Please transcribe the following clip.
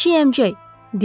Kiçik əmcək!